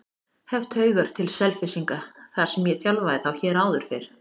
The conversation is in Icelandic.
Hef taugar til Selfyssinga þar sem ég þjálfaði þá hér áður fyrr.